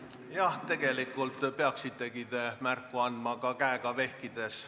Jah, tegelikult peaksitegi märku andma ka käega vehkides.